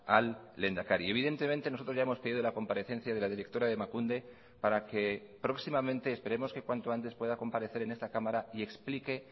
al lehendakari y evidentemente nosotros ya hemos pedido la comparecencia de la directora de emakunde para que próximamente esperemos que cuanto antes pueda comparecer en esta cámara y explique